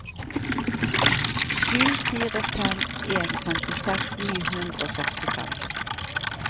sju fire fem en femtiseks ni hundre og sekstifem